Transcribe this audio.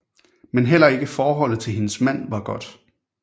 Men heller ikke forholdet til hendes mand var godt